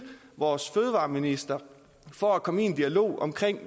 vores fødevareminister for at komme i en dialog om